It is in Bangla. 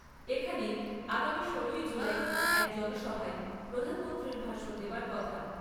এখানেই আগামী ষোলোই জুলাই এক জনসভায় প্রধানমন্ত্রীর ভাষণ দেবার কথা।